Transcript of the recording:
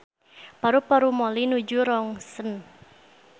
Paru-paru Molly nuju rontgen